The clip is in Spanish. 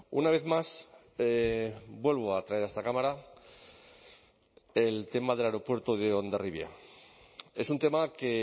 una vez más vuelvo a traer a esta cámara el tema del aeropuerto de hondarribia es un tema que